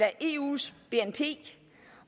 af eus bnp